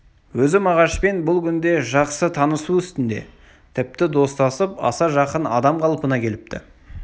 өзі мағашпен бұл күнде жақсы танысу үстіне тіпті достасып аса жақын адам қалпына келіпті